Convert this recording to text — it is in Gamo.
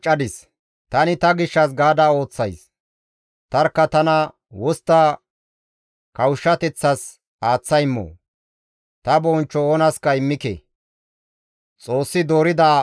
Ta gishshas gaada, tani ta gishshas gaada ooththays. Tarkka tana wostta kawushshateththas aaththa immoo? Ta bonchcho oonaska immike.